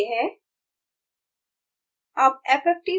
output यह है